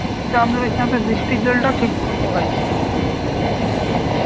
তা আমাদের এখানে তো বৃষ্টির জলটাও ঠিকমতো হয়নি